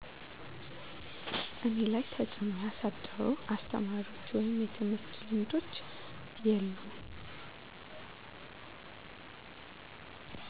እኔ ላይ ተፅእኖ ያሳደሩ አስተማሪዎች ወይም የትምህርት ልምዶች የሉም